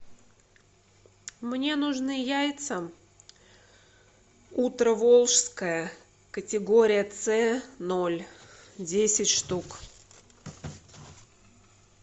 мне нужны яйца утро волжское категория ц ноль десять штук